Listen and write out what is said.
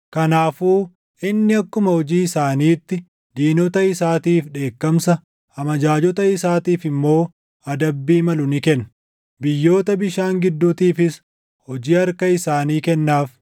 Kanaafuu inni akkuma hojii isaaniitti, diinota isaatiif dheekkamsa, amajaajota isaaniitiif immoo adabbii malu ni kenna; biyyoota bishaan gidduutiifis hojii harka isaanii kennaaf.